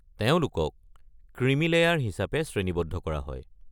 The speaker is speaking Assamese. তেওঁলোকক ক্ৰিমি লেয়াৰ হিচাপে শ্ৰেণীবদ্ধ কৰা হয়।